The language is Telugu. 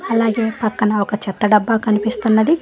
అలాగే పక్కన ఒక చెత్త డబ్బా కనిపిస్తున్నది.